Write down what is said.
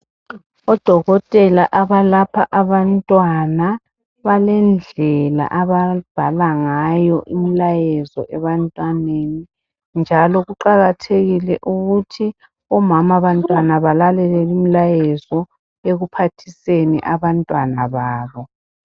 ODokotela abalapha abantwana balendlela ababhala ngayo imlayezo ebantwaneni njalo kuqakathekile ukuthi omama bantwana balalele imlayezo ekuphathiseni abantwana babo.